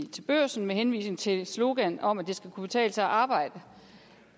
til børsen med henvisning til sloganet om at det skal kunne betale sig at arbejde